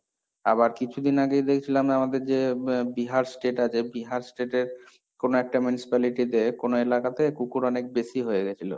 আবার কিছুদিন আগেই দেখছিলাম আমাদের যে বিহার state আছে বিহার state এর কোন একটা municipality তে কোন এলাকাতে কুকুর অনেক বেশি হয়ে গেছিল।